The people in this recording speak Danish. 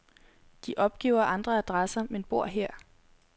De opgiver andre adresser, men bor her.